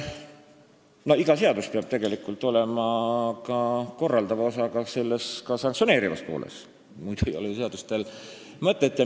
Iga seadus peab olema ka korraldava osaga, ka sanktsioneeriva poolega, muidu ei ole seadusel mõtet.